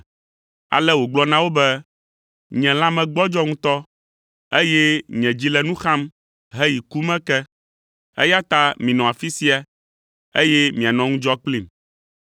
Ale wògblɔ na wo be, “Nye lãme gbɔdzɔ ŋutɔ, eye nye dzi le nu xam heyi ku me ke, eya ta minɔ afi sia, eye mianɔ ŋudzɔ kplim.”